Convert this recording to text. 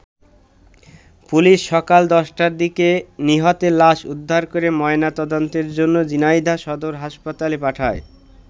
Police সকাল ১০টার দিকে নিহতের লাশ উদ্ধার করে ময়না তদন্তের জন্য ঝিনাইদহ সদর হাসপাতালে পাঠায়।